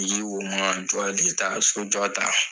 so jɔ ta.